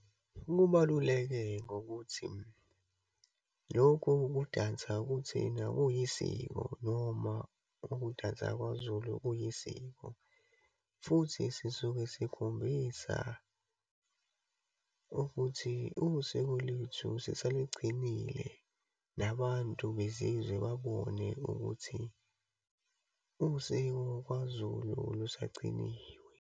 Lubaluleke ngokuthi, lokhu okokudansa kuthina kuyisiko noma ukudansa kwaZulu kuyisiko, futhi sisuke sikhombisa ukuthi usiko lwethu sisalugcinile. Nabantu bezizwe babone ukuthi usiko kwaZulu lusagciniwe.